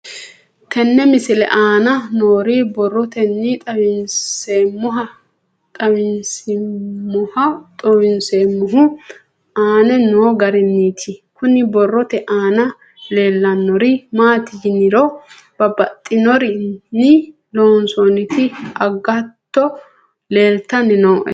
Tenne misile aana noore borroteni xawiseemohu aane noo gariniiti. Kunni borrote aana leelanori maati yiniro babbaxinorinni loosonitti agato leeltanni nooe.